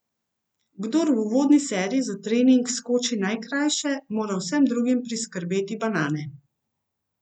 Kdor v uvodni seriji za trening skoči najkrajše, mora vsem drugim priskrbeti banane.